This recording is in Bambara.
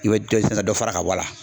I bɛ dɔ fana dɔ fara ka bɔ a la.